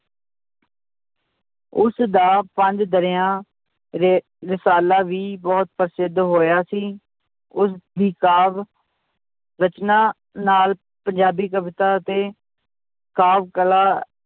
ਉਸਦਾ ਪੰਜ ਦਰਿਆ ਰ~ ਰਸਾਲਾ ਵੀ ਬਹੁਤ ਪ੍ਰਸਿੱਧ ਹੋਇਆ ਸੀ, ਉਸਦੀ ਕਾਵਿ ਰਚਨਾ ਨਾਲ ਪੰਜਾਬੀ ਕਵਿਤਾ ਅਤੇ ਕਾਵਿ ਕਲਾ